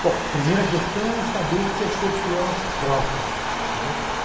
Bom, a primeira questão é saber o que é ser fiel a si próprio.